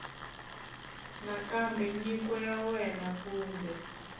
nakambe nyiko ya wena kumbe